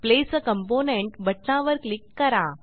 place a component बटणावर click करा